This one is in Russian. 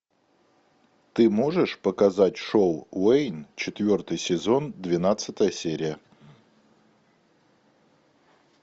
ты можешь показать шоу уэйн четвертый сезон двенадцатая серия